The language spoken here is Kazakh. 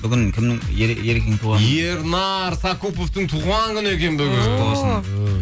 бүгін кімнің ерекеңнің туған күні ме ернар сакуповтың туған күні екен бүгін